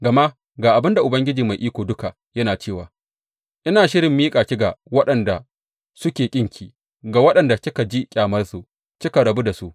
Gama ga abin da Ubangiji Mai Iko Duka yana cewa ina shirin miƙa ki ga waɗanda suke ƙinki, ga waɗanda kika ji ƙyamarsu kika rabu da su.